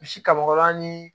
Misi kabakɔrɔni